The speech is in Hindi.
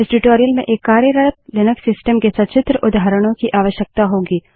इस ट्यूटोरियल में एक कार्यरत लिनक्स सिस्टम के सचित्र उदाहरणों की आवश्यकता होगी